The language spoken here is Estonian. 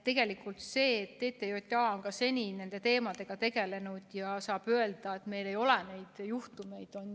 Tegelikult on nii, et TTJA on ka seni nende teemadega tegelenud ja saab öelda, et meil ei ole neid juhtumeid.